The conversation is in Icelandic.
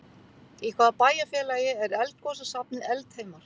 Í hvaða bæjarfélagi er eldgosasafnið Eldheimar?